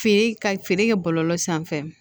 Feere ka feere kɛ bɔlɔlɔ sanfɛ